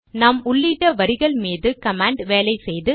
நாம் உள்ளிட்ட வரிகள் மீது கமாண்ட் வேலை செய்து